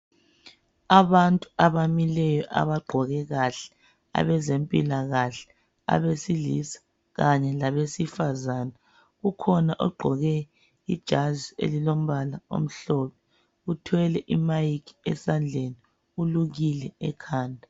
Abantu abamileyo, abagqoke kahle. Abezempilakahle, abesilisa kanye labesifazana. Ukhona ogqoke ijazi elilombala omhlophe. Uthwele imike esandleni. Ulukile ekhanda.